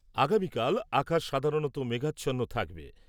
আগামীকাল আকাশ সাধারণতঃ মেঘাচ্ছন্ন থাকবে ।